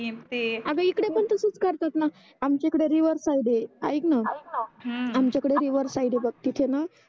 अग इकडे पण तसच करतातणा आमच्या इकडे रिव्हर साइड आहे आयकण हम्म आमक्या इकडे रिव्हर साइड आहे बग तिथे णा